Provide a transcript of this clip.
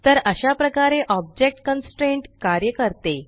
तर अशा प्रकारे ऑब्जेक्ट कॉन्स्ट्रेंट कार्य करते